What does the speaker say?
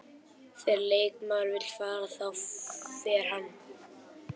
Þegar leikmaður vill fara, þá fer hann.